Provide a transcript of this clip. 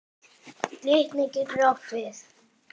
Glitnir getur átt við